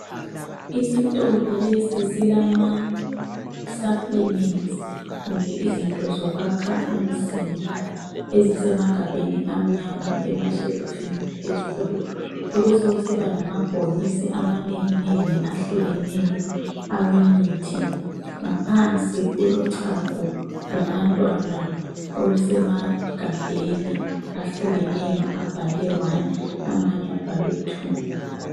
Isitolo lesi silama supplements kumbe izinto zokwakha umzimba ezisemagabheni amnyama emashelufini phezulu. Kubesokusiba lamabhokisi amanenginengi ahlukeneyo awemithi. Ngaphansi kulochago lwabantwana olusemagabheni ahlukeneyo abhalwe 1 amanye abhalwe 2.